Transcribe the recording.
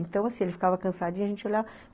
Então, assim, ele ficava cansadinho e a gente olha